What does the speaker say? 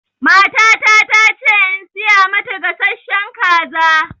Matata ta ce in siya mata gasashshen kaza